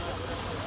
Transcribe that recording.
Qoy qəti boş qoy.